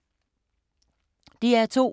DR2